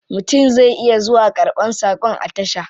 Mutum zai iya zuwa karban sakon a tasha.